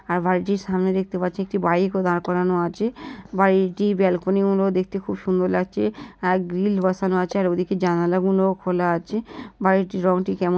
আর বাড়িটির সামনে দেখতে পাচ্ছি একটি বাইক ও দড়া করানো আছে বাড়িটি বেলকনি গুলো খুব সুন্দর লাগছে আর গ্রিল বসানো আছে আর ওদিকে জানালা গুলোও খোলা আছে বাড়িটির রঙটি কেমন--